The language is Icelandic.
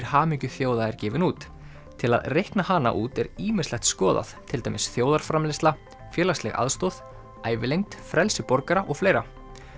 hamingju þjóða er gefinn út til að reikna hana út er ýmislegt skoðað til dæmis þjóðarframleiðsla félagsleg aðstoð ævilengd frelsi borgara og fleira